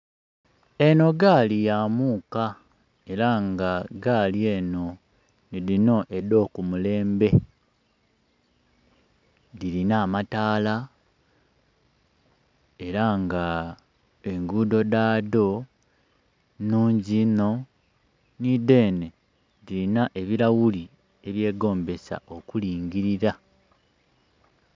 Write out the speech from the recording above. Eno gaali ya muka era nga gaali eno ni dhino edh'oku mulembe, dhirina amataala era nga engudho dha dho nhungi inho. Nhi dhene dhirina ebilaghuli ebye gombesa okulingilira.